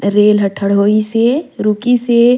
रेल ह ठड़ होइसे रुकी से--